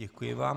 Děkuji vám.